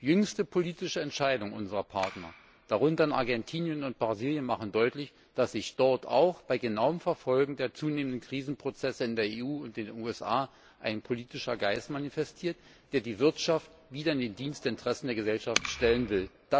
Jüngste politische Entscheidungen unserer Partner darunter Argentinien und Brasilien machen deutlich, dass sich auch bei genauem Verfolgen der zunehmenden Krisenprozesse in der EU und den USA dort ein politischer Geist manifestiert, der die Wirtschaft wieder in den Dienst der Interessen der Gesellschaft stellen will.